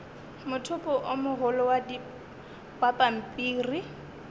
mothopo o mogolo wa pampiri